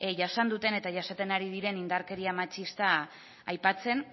jasan duten eta jasaten ari diren indarkeria matxista aipatzen